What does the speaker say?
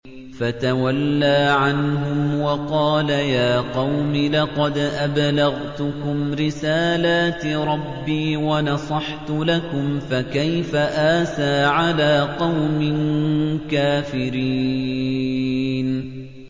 فَتَوَلَّىٰ عَنْهُمْ وَقَالَ يَا قَوْمِ لَقَدْ أَبْلَغْتُكُمْ رِسَالَاتِ رَبِّي وَنَصَحْتُ لَكُمْ ۖ فَكَيْفَ آسَىٰ عَلَىٰ قَوْمٍ كَافِرِينَ